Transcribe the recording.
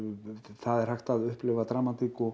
það er hægt að upplifa dramatík og